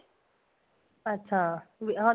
ਅੱਛਾ ਵੀ ਹਾਂ